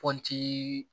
Pɔnti